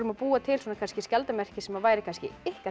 að búa til skjaldarmerki sem væri kannski ykkar